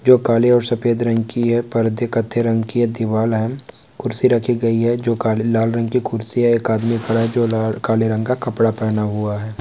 जो काले और सफेद रंग की है। पर्दे कत्थई रंग की है दीवाल है। कुर्सी रखी गई है जो काले लाल रंग की कुर्सी है। एक आदमी खड़ा जो ला काले रंग का कपड़ा पहना हुआ है।